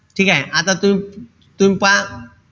ठीकेय? आता तुम्ही तुम्ही पहा,